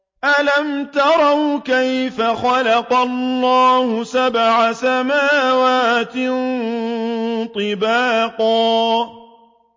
أَلَمْ تَرَوْا كَيْفَ خَلَقَ اللَّهُ سَبْعَ سَمَاوَاتٍ طِبَاقًا